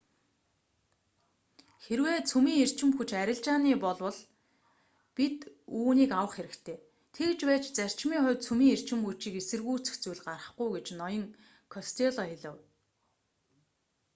хэрвээ цөмийн эрчим хүч арилжааных болвол бид үүнийг авах хэрэгтэй тэгж байж зарчмын хувьд цөмийн эрчим хүчийг эсэргүүцэх зүйл гарахгүй гэж ноён костелло хэлэв